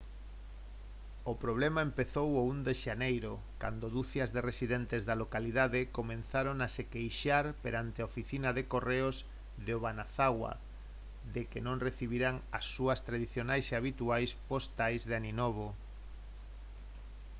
o problema empezou o 1 de xaneiro cando ducias de residentes da localidade comezaron a se queixar perante a oficina de correos de obanazawa de que non recibiran as súas tradicionais e habituais postais de aninovo